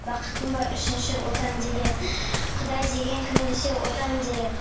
бақытым бар үшінші отан деген құдай деген кім десе отан дер едім